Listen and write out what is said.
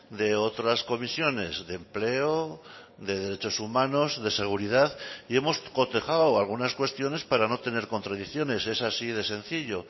de otras comisiones de empleo de derechos humanos de seguridad y hemos cotejado algunas cuestiones para no tener contradicciones es así de sencillo